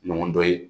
Ɲɔgɔn dɔ ye